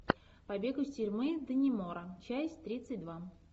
побег из тюрьмы даннемора часть тридцать два